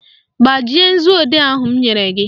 Gbajie nzuodee ahụ m nyere gị!